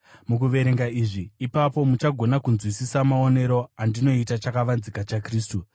Mukuverenga izvi, ipapo muchagona kunzwisisa maonero andinoita chakavanzika chaKristu,